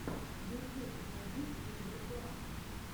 ютюб найди киндер клаб